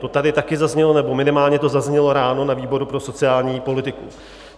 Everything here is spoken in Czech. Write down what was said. To tady také zaznělo, nebo minimálně to zaznělo ráno na výboru pro sociální politiku.